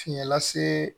Fiɲɛ lase